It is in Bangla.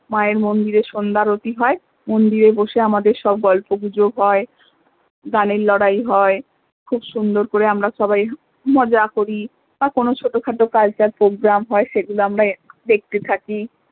মা এর মন্দিরে সন্ধ্যা আরতি হয় মন্দিরে বসে আমাদের সব গল্প গুজব হয় গানের লড়াই হয় খুব সুন্দর করে আমরা সবাই মজা করি বা কোনো ছোট খাটো cultural program হয় সে গুলো আমরা দেখতে থাকি